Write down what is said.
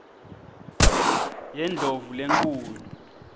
yendlovulenkhulu